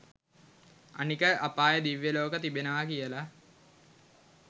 අනික අපාය දිව්‍ය ලෝක තිබෙනව කියල